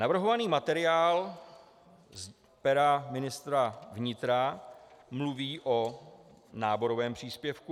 Navrhovaný materiál z pera ministra vnitra mluví o náborovém příspěvku.